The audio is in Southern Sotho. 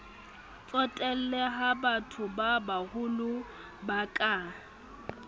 tsotelle ha bathobabaholo ba ka